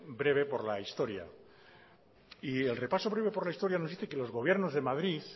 breve por la historia y el repaso breve por la historia nos dice que los gobiernos de madrid